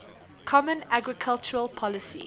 common agricultural policy